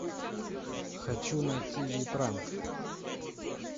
хочу найти ви пранк